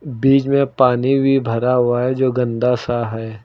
बीच में पानी भी भरा हुआ है जो गंदा सा है।